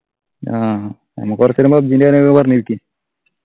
ആഹ് നമ്മക്ക് കൊറച്ചു നേരം PUBG ന്റെ കാര്യങ്ങക്കെ പറഞ്ഞിരിക്ക്